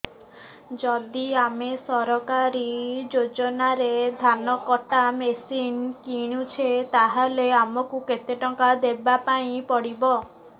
ଯଦି ଆମେ ସରକାରୀ ଯୋଜନାରେ ଧାନ କଟା ମେସିନ୍ କିଣୁଛେ ତାହାଲେ ଆମକୁ କେତେ ଟଙ୍କା ଦବାପାଇଁ ପଡିବ